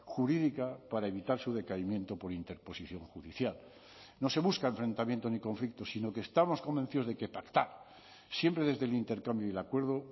jurídica para evitar su decaimiento por interposición judicial no se busca enfrentamiento ni conflicto sino que estamos convencidos de que pactar siempre desde el intercambio y el acuerdo